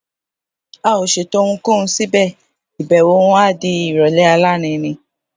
a ò ṣètò ohunkóhun síbè ìbèwò wọn wá di ìròlé alárinrin